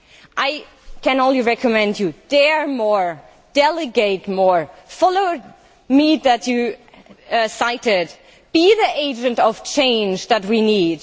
I can only recommend you dare more, delegate more. Follow Margaret Mead, whom you cited. Be the agent of change that we